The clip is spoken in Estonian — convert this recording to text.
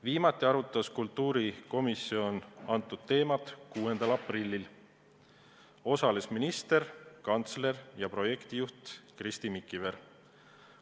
Viimati arutas kultuurikomisjon seda eelnõu 6. aprillil, osalesid ka minister, kantsler ja projektijuht Kristi Mikiver.